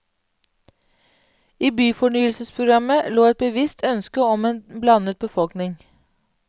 I byfornyelsesprogrammet lå et bevisst ønske om en blandet befolkning.